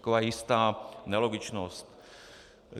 Taková jistá nelogičnost.